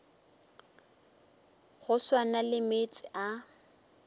go swana le meetse a